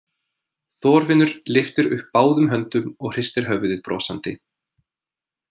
Þorfinnur lyftir upp báðum höndum og hristir höfuðið brosandi.